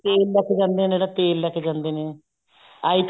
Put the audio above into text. ਤੇਲ ਲੈਕੇ ਜਾਂਦੇ ਨੇ ਜਿਹੜਾ ਤੇਲ ਲੈਕੇ ਜਾਂਦੇ ਨੇ i